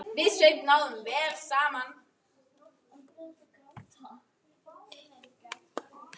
Gætuð þið ímyndað ykkur.